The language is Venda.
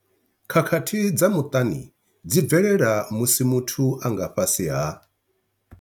Khakhathi dza muṱani dzi bvelela musi muthu a nga fhasi ha.